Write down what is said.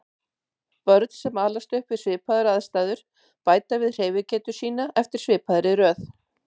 Börn sem alast upp við svipaðar aðstæður bæta við hreyfigetu sína eftir svipaðri röð.